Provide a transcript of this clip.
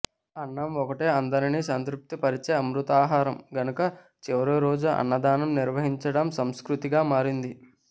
అన్నం ఒక్కటే అందరినీ సంతృప్తి పరిచే అమృతాహారం గనుక చివరిరోజు అన్నదానం నిర్వహించడం సంస్కృతిగా మారింది